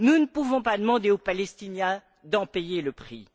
nous ne pouvons pas demander aux Palestiniens d'en payer le prix.